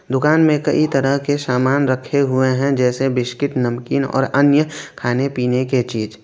दुकान में कई तरह के सामान रखे हुए हैं जैसे बिस्किट नमकीन और अन्य खाने पीने के चीज।